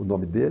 O nome dele?